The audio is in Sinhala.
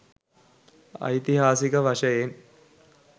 ඓතිහාසික වශයෙන්